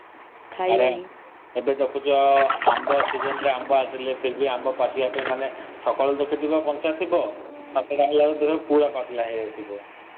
ଏବେ ଦେଖୁଛ ଆମ୍ବ season ରେ ଆମ୍ବ ଆସିଲେ ଫିରଭି ଆମ୍ବ ସକାଳୁ ଦେଖିଥିବ କଞ୍ଚା ଥିବ ସନ୍ଧ୍ୟା କୁ ଦେଖିବ ପୁର ପାଚିଲା ହେଇଯାଇଥିବ।